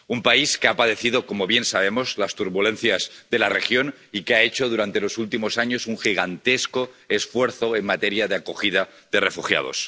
Un país que ha padecido, como bien sabemos, las turbulencias de la región y que ha hecho durante los últimos años un gigantesco esfuerzo en materia de acogida de refugiados.